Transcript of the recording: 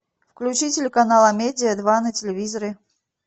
включи телеканал амедия два на телевизоре